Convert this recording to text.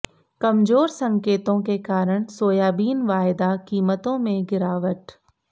कमजोर संकेतों के कारण सोयाबीन वायदा कीमतों में गिरावट